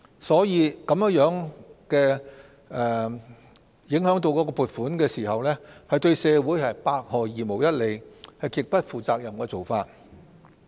所以，撥款受影響對社會百害而無一利，是極不負責任的做法。